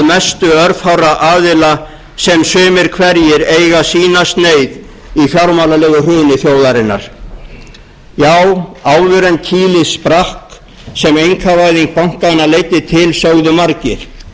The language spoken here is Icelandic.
mestu örfárra aðila sem sumir hverjir eiga sína sneið í fjármálalegu hruni þjóðarinnar já áður en kýlið sprakk sem einkavæðing bankanna leiddi til sögðu margir atvinnulíf